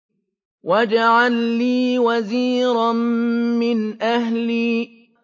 وَاجْعَل لِّي وَزِيرًا مِّنْ أَهْلِي